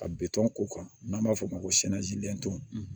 Ka bitɔn k'u kan n'an b'a fɔ o ma ko